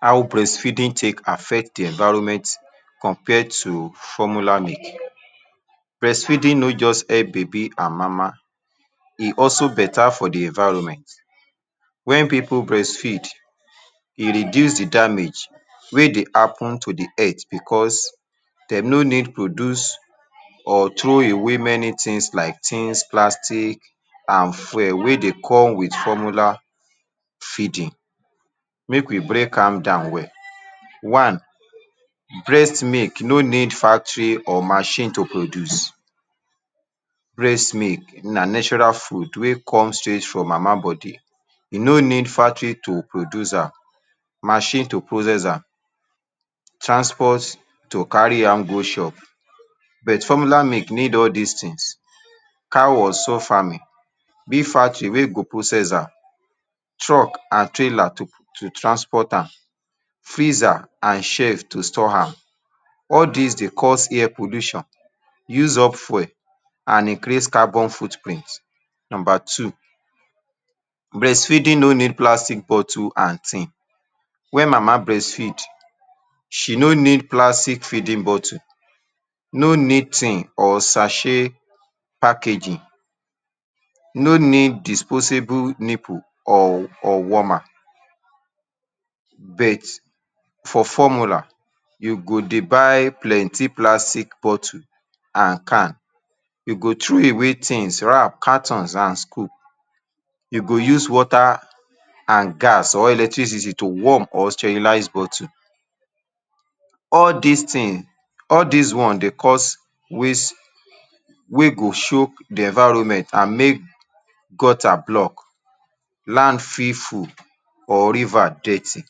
How breastfeeding take affect the environment compared to formula milk. Breastfeeding no just help baby and mama e also better for the environment when pipu breastfeed. e reduce the damage wey dey happen to de head because dem no need produce or throway many things like tins, plastic and wey dey come with formula feeding. make we break am down well; one. breast milk no need factory or machine to produce. breast milk na natural food wey come straight from mama body, e no need factory to produce am machine to process am transport to carry am go shop but formula milk need all this things. Cow or farming being factory wey go process am, truck and trailer to transport am, freezer and shelve to store am. all these dey cause air pollution use up fuel and increase carbon footprint. number two breastfeeding: no need plastic bottle and tin: when mama breastfeed, she no need plastic feeding bottle, no need tin or sachet packaging, no need disposal nipple, or warmer but for formula you go dey buy plenty plastic bottle and can you go throw away things, wrap carton and scoop you go use water and gas or electricity to warm or sterilise bottle all these things, all these one dey cause waste wey go choke the environment and make gutter block, land fit full or river with dirty.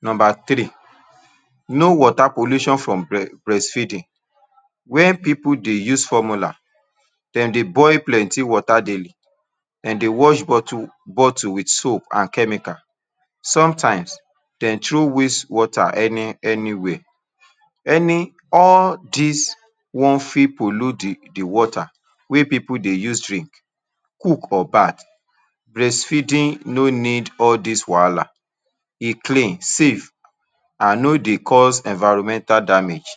number three no wota pollution from breastfeeding: when pipu dey use formula, dem dey boil plenty wota daily. dem dey wash bottle with soap and chemical sometimes, dem throw waste wota any any where. all these one fit pollute the the wota wey pipu dey use drink, cook or bath. breastfeeding no need all this wahala, e clean, safe and no dey cause environmental damage.